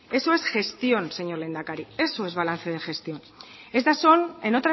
eso es gestión señor lehendakari eso es balance de gestión estas son en